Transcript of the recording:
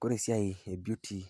Kore esiai e beauty